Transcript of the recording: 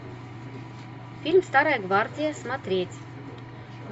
фильм старая гвардия смотреть